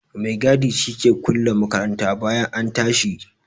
Maigadi shi ke kulle makaranta bayan an tashi.